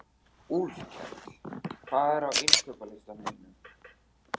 Úlfkell, hvað er á innkaupalistanum mínum?